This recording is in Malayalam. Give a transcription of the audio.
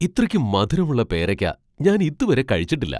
ഇത്രക്കു മധുരമുള്ള പേരയ്ക്ക ഞാൻ ഇതുവരെ കഴിച്ചിട്ടില്ല !